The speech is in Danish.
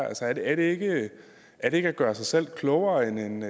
altså er det ikke at ikke at gøre sig selv klogere end